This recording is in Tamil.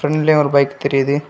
ப்ரண்ட்லயு ஒரு பைக் தெரியிது.